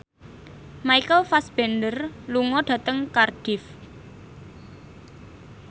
Michael Fassbender lunga dhateng Cardiff